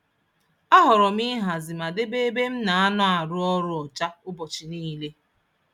Ahọrọ m ịhazi ma debe ebe m na-anọ arụ ọrụ ọcha ụbọchị niile.